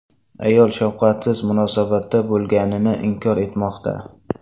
Ayol shafqatsiz munosabatda bo‘lganini inkor etmoqda.